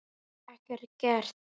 Ekkert gert?